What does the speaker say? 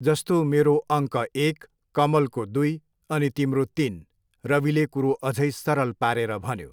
जस्तो मेरो अङ्क एक, कमलको दुई अनि तिम्रो तिन, रविले कुरो अझै सरल पारेर भन्यो।